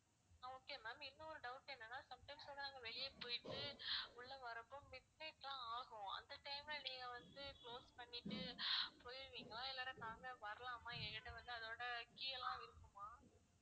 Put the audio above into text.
அஹ் okay ma'am இன்னொரு doubt என்னனா some times வந்து நாங்க வெளிய போயிட்டு உள்ள வர்றப்ப mid night லாம் ஆகும் அந்த time ல நீங்க வந்து close பண்ணிட்டு போயிடுவிங்களா இல்லனா நாங்க வரலாமா என்கிட்ட வந்து அதோட key எல்லாம் இருக்குமா?